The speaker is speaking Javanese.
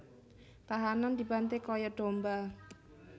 Tahanan dibanté kaya domba